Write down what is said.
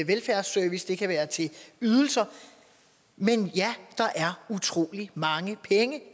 velfærdsservice det kan være til ydelser men ja der er utrolig mange penge